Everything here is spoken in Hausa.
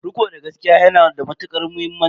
Riko da gaskiya ya na da matuƙar muhimmanci.